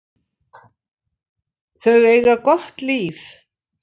Þau eiga gott líf.